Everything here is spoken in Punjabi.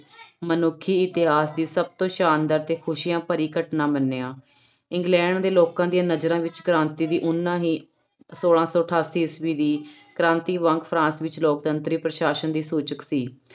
ਮਨੁੱਖੀ ਇਤਿਹਾਸ ਦੀ ਸਭ ਤੋਂ ਸ਼ਾਨਦਾਰ ਤੇ ਖ਼ੁਸ਼ੀਆਂ ਭਰੀ ਘਟਨਾ ਮੰਨਿਆ, ਇੰਗਲੈਂਡ ਦੇ ਲੋਕਾਂ ਦੀਆਂ ਨਜ਼ਰਾਂ ਵਿੱਚ ਕ੍ਰਾਂਤੀ ਦੀ ਓਨਾ ਹੀ ਛੋਲਾਂ ਸੌ ਅਠਾਸੀ ਈਸਵੀ ਦੀ ਕ੍ਰਾਂਤੀ ਵਾਂਗ ਫਰਾਂਸ ਵਿੱਚ ਲੋਕਤੰਤਰੀ ਪ੍ਰਸ਼ਾਸ਼ਨ ਦੀ ਸੂਚਕ ਸੀ।